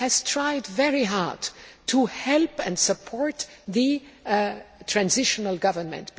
tried very hard to help and support the transitional government.